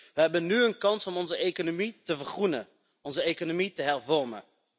We hebben nu een kans om onze economie te vergroenen, onze economie te hervormen.